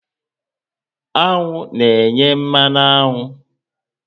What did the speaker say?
Aṅụ na enye mmanụ aṅụ